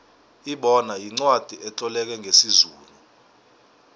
ibona yincwacli etloleke ngesizulu